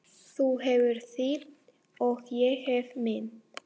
Þú hefur þitt og ég hef mitt.